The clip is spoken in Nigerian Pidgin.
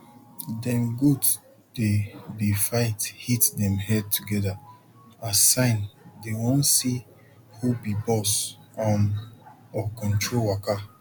dem goat dey dey fight hit dem head together na sign dey wan see hu be boss um or control waka